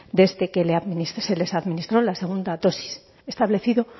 desde que se les administró la segunda dosis establecido